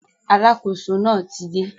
Alákóso náà ti dé